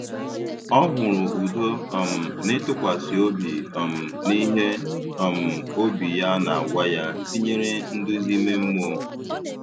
Ọ hụrụ udo um n’ịtụkwasị obi um n’ihe um obi ya na-agwa ya, tinyere nduzi ime mmụọ.